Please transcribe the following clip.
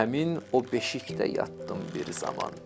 Həmin o beşikdə yatdım bir zaman.